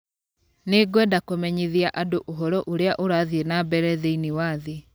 Nĩ ngwenda kũmenyithia andũ ũhoro ũrĩa ũrathiĩ na mbere thĩinĩ wa thĩ